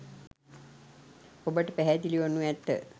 ඔබට පැහැදිලි වනු ඇත.